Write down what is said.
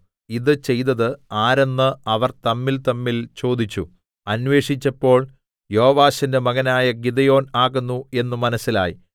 ഇതു ചെയ്തത് ആരെന്ന് അവർ തമ്മിൽതമ്മിൽ ചോദിച്ചു അന്വേഷിച്ചപ്പോൾ യോവാശിന്റെ മകനായ ഗിദെയോൻ ആകുന്നു എന്ന് മനസ്സിലായി